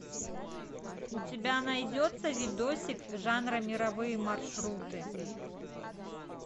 у тебя найдется видосик жанра мировые маршруты